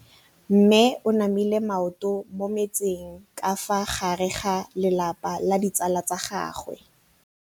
Mme o namile maoto mo mmetseng ka fa gare ga lelapa le ditsala tsa gagwe.